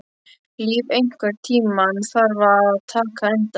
Líf, einhvern tímann þarf allt að taka enda.